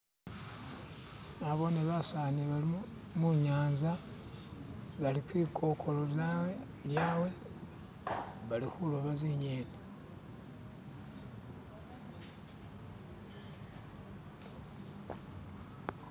nabone basaani bano munyanza bali kwikokoza lyawe balihuloba zinyeni